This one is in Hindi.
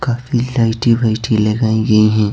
काफी लाइटी वाइटी लगाई गई हैं।